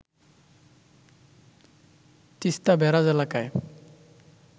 Teesta barrage এলাকায়